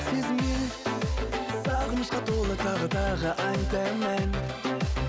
сезімге сағынышқа толы тағы тағы айтамын ән